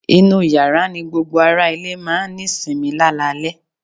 inú yàrá ní gbogbo ará ilé máà ń ní sinmi lálalẹ́